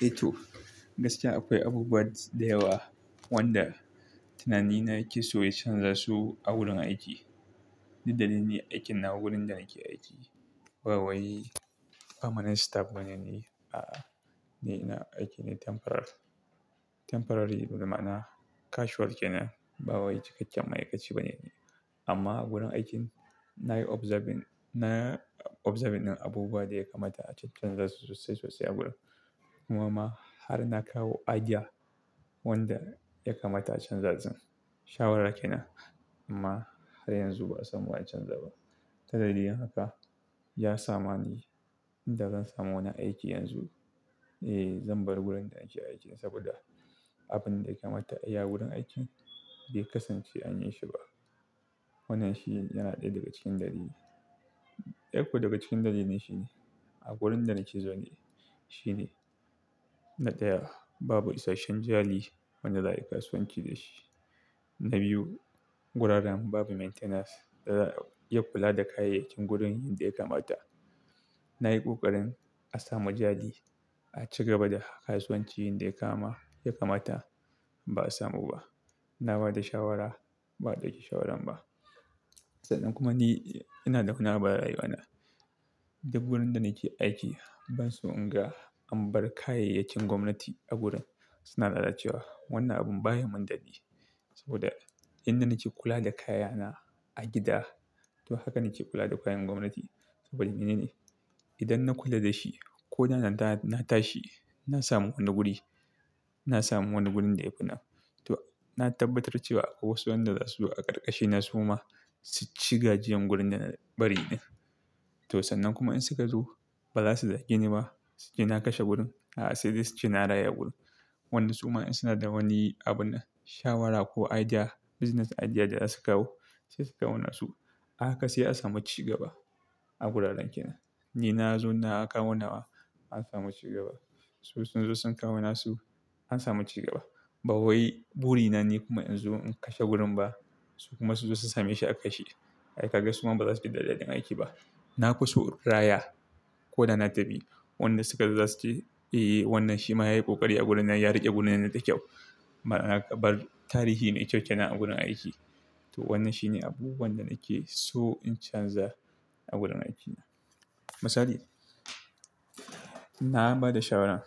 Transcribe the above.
Ito gaskiya akwai abubuwa da yawa wanda tunani na ya ke so yacanza su a wurin aiki. Dalili aikin na wurin da ake aiki. Bawai permanent staff bane ne, a'a, ni na aiki ne temporary. Temporary dai ma'ana casual kenan ba wai cikakken ma'aikaci bane ne. Amma wurin aikin na yi observing, na observing abubuwa da yaka mata a cancanzasu sosai sosai a gurin. Kuma ma har na kawo idea wanda ya kamata a canza zan. Shawarar kena amma har yanzu ba'a samu a canza ba. Dalilin haka ya sama ni ba zan samu wani aiki yanzu, eh zan bar wurin da nake aiki saboda abin da yake mata a yi a wurin aikin bai kasance an yi shi ba. Wannan shi yana ɗaya daga cikin dalili, ɗaya kuma daga cikin dalili ne shi ne a wurin da nake zau ne shi ne, na ɗaya babu isasshen jari wanda za'a yi kasuwanci da shi. Na biyu wuraren babu maintenance, yana kula da kayayyakin gurin yadda yake mata. Na yi ƙoƙarin a samu jari a cigaba da kasuwancin da yake kama, yake mata ba'a samu ba. Na bada shawara ba adau shawarar ba sannan kuma ni ina da wani abu arayuwana. Duk gurin da nake aiki ban so in ga an bar kayayyakin gwamnati a gurin. Suna lalacewa. Wannan abun baya yi min dadin sabo da yanda nake kula da kayana haka nake kula da kayan gwamnati saboda mene ne? Idan na kula da shi ko da na tashi na samu wani guri, na samu wani gurin da ya fi na. To na tabbatar cewa wasu wanda za su zo a ƙarƙashi na soma su ci gajiyan gurin da na bari ɗin. To sannan kuma in suka zo ba za su zagi ni ba. Sai na kashe gurin. A'a, sai dai su ci na raya gurin. Wannan su ma in suna da wani abun, shawara ko idea, business idea da za su kawo sai su kawo nasu. Haka sai a samu cigaba a wuraren kenan. Ni na zo na kawo nawa an samu cigaba. Su sun zo sun kawo nasu an samu cigaba. Bawiai buri na ni kuma in zo in kashe gurin ba su kuma su zo su same shi a kashe. Ai kaga su ma ba za su ji dadadin aiki ba. Nafiso in raya raya ko da na tafi. Wanda suka zo za su ce eh wannan shi ma ya yi kokari a gurin nan ya riƙe gurin nan da kyau. Ma na ka bar tarihi mai kyau kenan a wurin aiki. To wannan shine abubuwan da na keso in canza a wurin aiki. Misali, na ba da shawaran